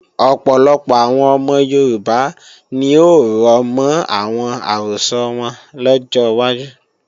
Ọ̀pọ̀lọpọ̀ àwọn ọmọ Yorùbá ni ó rọ̀mọ́ àwọn àrọ́sọ wọn lọ́jọ́ wájú